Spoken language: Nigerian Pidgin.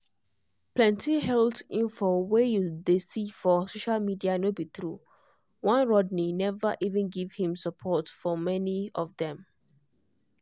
plenty health info wey you dey see for social media no be true one rodney never even give him support for many of dem.